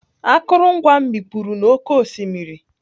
Akụrụngwa m mikpuru n'oké osimiri.